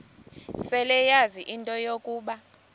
seleyazi into yokuba